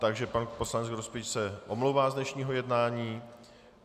Takže pan poslanec Grospič se omlouvá z dnešního jednání.